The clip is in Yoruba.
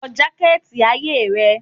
Wọ jaketi aye rẹ?